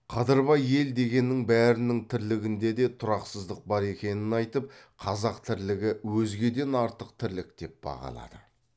қадырбай ел дегеннің бәрінің тірлігінде де тұрақсыздық бар екенін айтып қазақ тірлігі өзгеден артық тірлік деп бағалады